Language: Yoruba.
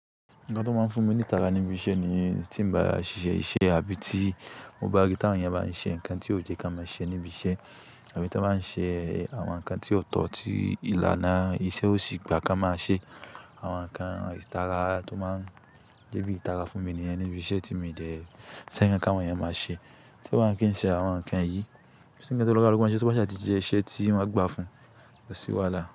Nǹkan tó máa ń fún mi ní ìtara níbi iṣẹ́ ni tí mo bá ṣẹ́ iṣẹ́ tàbí tí mo bá rí ti àwọn èèyàn báa ń ṣe nǹkan tí ò yẹ́ kí a máa ṣe níbi iṣẹ́ àbí tí wọ́n báa ń ṣe àwọn nǹkan tí ò tọ̀ tí ìlànà iṣẹ́ ó sì gbà kí a máa ṣe. Àwọn nǹkan ìtara tó máa ń jeebì ìtara fún mi ní yen nibí iṣẹ́ tí mi de fẹ́ kí àwọn èèyàn máa ṣe. Tí kò bá kí n ṣe àwọn nǹkan yìí, kó sí nkan ti olukaluku bá sè tí wọ́n a gbà fún, kó ṣì wàalá?